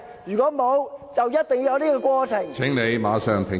如果沒有，就一定要有這個過程......